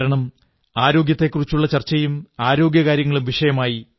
കാരണം ആരോഗ്യത്തെക്കുറിച്ചുള്ള ചർച്ചയും ആരോഗ്യകാര്യങ്ങളും വിഷയമായി